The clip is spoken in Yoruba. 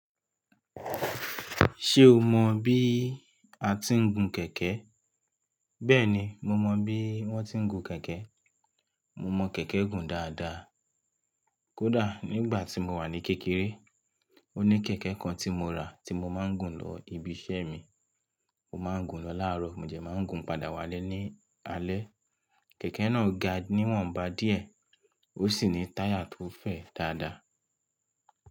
Ṣé o mọ bí a ti ń gun kẹ̀kẹ́? Bẹ́ẹ̀ni, mo mọ bí wón ti ń gun kẹ̀kẹ́. Mo mọ kẹ̀kẹ́ gùn dáadáa. Kódà nígbà tí mo wà ní kékeré, ó ní kẹ̀kẹ́ kan tí mo rà tí mo máa ń gùn lọ ibiṣẹ́ mi. Mo máa ń gùn lọ láàárọ̀ mo dé máa ń gùn padà wálé ní alẹ́. Kẹ̀kẹ́ náà ga níwọ̀nba díẹ̀ ó sì ní táyà tó fẹ̀ dáadáa.